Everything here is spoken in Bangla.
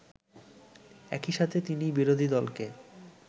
একইসাথে তিনি বিরোধীদলকে